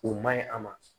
O man ɲi a ma